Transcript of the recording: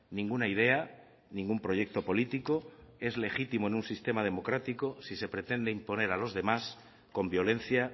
ninguna idea ningún proyecto político es legítimo en un sistema democrático si se pretende imponer a los demás con violencia